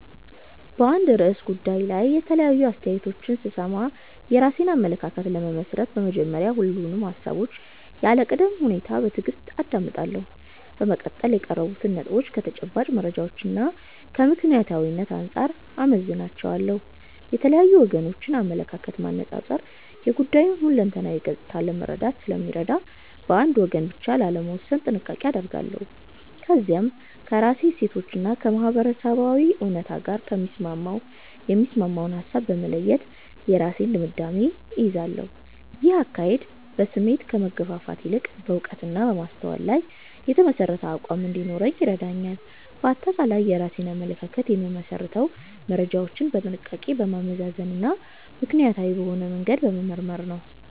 በአንድ ርዕሰ ጉዳይ ላይ የተለያዩ አስተያየቶችን ስሰማ፣ የራሴን አመለካከት ለመመስረት በመጀመሪያ ሁሉንም ሃሳቦች ያለ ቅድመ ሁኔታ በትዕግስት አዳምጣለሁ። በመቀጠል የቀረቡትን ነጥቦች ከተጨባጭ መረጃዎችና ከምክንያታዊነት አንጻር እመዝናቸዋለሁ። የተለያዩ ወገኖችን አመለካከት ማነጻጸር የጉዳዩን ሁለንተናዊ ገጽታ ለመረዳት ስለሚረዳኝ፣ በአንድ ወገን ብቻ ላለመወሰን ጥንቃቄ አደርጋለሁ። ከዚያም ከራሴ እሴቶችና ከማህበረሰባዊ እውነት ጋር የሚስማማውን ሃሳብ በመለየት የራሴን ድምዳሜ እይዛለሁ። ይህ አካሄድ በስሜት ከመገፋፋት ይልቅ በዕውቀትና በማስተዋል ላይ የተመሠረተ አቋም እንዲኖረኝ ይረዳኛል። ባጠቃላይ የራሴን አመለካከት የምመሰርተው መረጃዎችን በጥንቃቄ በማመዛዘንና ምክንያታዊ በሆነ መንገድ በመመርመር ነው።